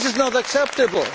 This is not acceptable.